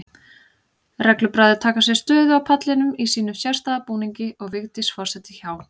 Reglubræður taka sér stöðu á pallinum í sínum sérstæða búningi og Vigdís forseti hjá.